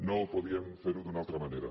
no podíem fer ho d’una altra manera